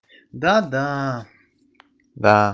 да-да да